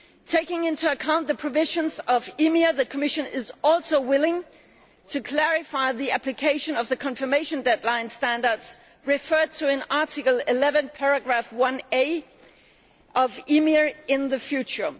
Taking into account the provisions of EMIR, the Commission is also willing to clarify the application of the confirmation deadline standards referred to in Article 11 of EMIR in the future.